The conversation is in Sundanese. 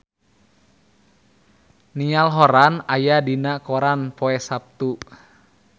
Niall Horran aya dina koran poe Saptu